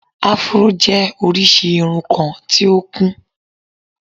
afro jẹ́ orísìí irun kan tí ó kún